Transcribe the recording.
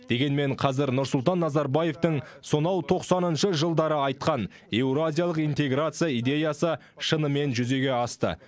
дегенмен қазір нұрсұлтан назарбаевтың сонау тоқсаныншы жылдары айтқан еуразиялық интеграция идеясы шынымен жүзеге асты